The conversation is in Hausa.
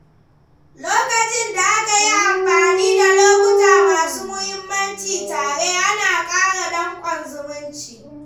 Lokacin da aka yi amfani da lokuta masu muhimmanci tare, ana ƙara dankon zumunci.